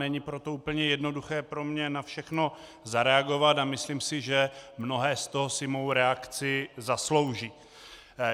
Není proto úplně jednoduché pro mě na všechno zareagovat a myslím si, že mnohé z toho si mou reakci zaslouží.